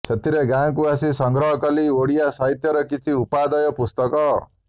ସେଥର ଗାଁ କୁ ଆସି ସଂଗ୍ରହକଲି ଓଡ଼ିଆ ସାହିତ୍ୟର କିଛି ଉପାଦେୟ ପୁସ୍ତକ